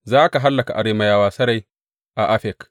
Za ka hallaka Arameyawa sarai a Afek.